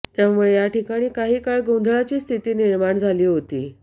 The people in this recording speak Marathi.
त्यामुळे या ठिकाणी काही काळ गोंधळाची स्थिती निर्माण झाली होती